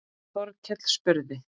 Þórkell spurði